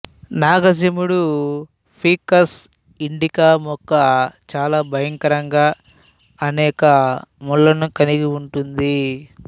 నాగజెముడు ficus indica మొక్క చాలా భయంకరంగా అనేక ముళ్ళను కలిగి ఉంటుంది